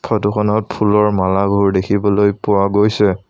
Photo খনত ফুলৰ মালাবোৰ দেখিবলৈ পোৱা গৈছে।